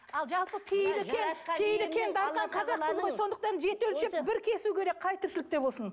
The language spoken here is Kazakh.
сондықтан жеті өлшеп бір кесу керек қай тіршілікте болсын